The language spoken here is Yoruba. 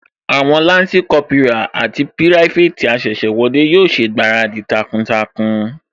Àwọn Lansi Kópírà àti pirafeti asese wọlé yóò ṣègbáradì takuntakun